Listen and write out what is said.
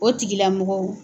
O tigilamɔgɔw